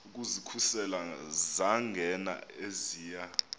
ukuzikhusela zangena eziya